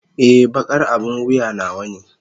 Ee, baƙar abin wuya nawa ne.